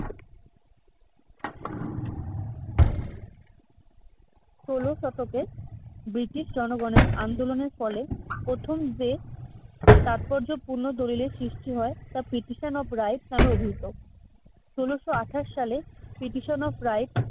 ষোল শতকে ব্রিটিশ জনগণের আন্দোলনের ফলে প্রথম যে তাৎপর্যপূর্ণ দলিলের সৃষ্টি হয় তা petition of rights নামে অভিহিত। ষোলশ আঠাশ সালে petition of rights